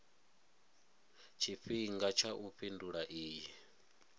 tshifhinga tsha u fhindula iyi